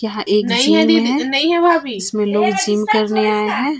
यह एक जिम है इसमें लोग जिम करने आए हैं।